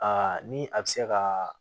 Aa ni a bɛ se ka